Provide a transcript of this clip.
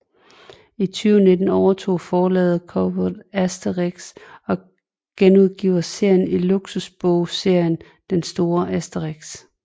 I 2019 overtog forlaget Cobolt Asterix og genudgiver serien i luksusbogserien Den store Asterix